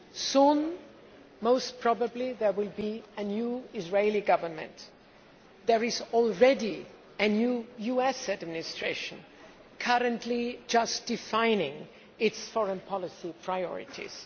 Soon, most probably, there will be a new Israeli Government. There is already a new US administration, currently defining its foreign policy priorities.